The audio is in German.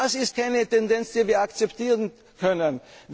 oft was nicht geschehen ist. Das ist keine Tendenz,